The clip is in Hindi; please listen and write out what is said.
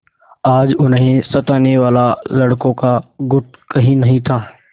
आज उन्हें सताने वाला लड़कों का गुट कहीं नहीं था